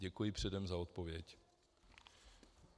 Děkuji předem za odpověď.